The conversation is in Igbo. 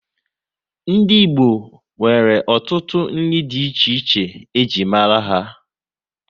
Ndị Igbo nwere ọtụtụ nri dị iche iche e ji mara ha